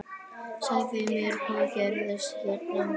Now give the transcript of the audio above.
Segðu mér, hvað gerðist hérna?